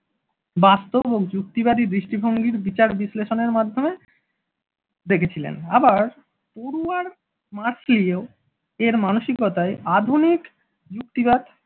বাস্তব ও যুক্তিবাদী দৃষ্টিভঙ্গির বিচার বিশ্লেষণের মাধ্যমে দেখেছিলেন আবার পড়ূয়ার মার্সলিয়ো এর মানসিকতায় আধুনিক যুক্তিবাদ।